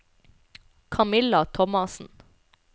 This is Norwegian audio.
Kamilla Thomassen